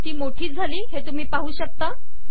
ती मोठी झाली हे तुम्ही पाहू शकता